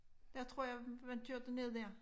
Der tror jeg man kørte ned der